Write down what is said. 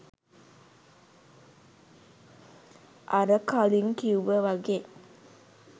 අර කලින් කිව්ව වගේ